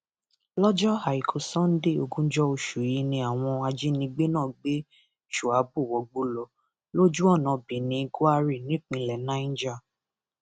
lọjọ àìkú sanńdé ogúnjọ oṣù yìí ni àwọn ajínigbé náà gbé shuabu wọgbó lọ lójú ọnà birnin gwari nípínlẹ niger